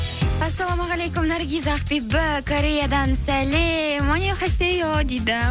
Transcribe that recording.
ассалаумағалейкум наргиз ақбибі кореядан сәлем дейді